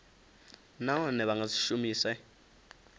nahone vha nga si shumise